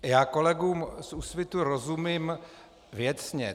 Já kolegům z Úsvitu rozumím věcně.